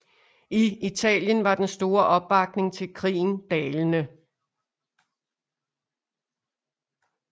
I Italien var den store opbakning til krigen dalende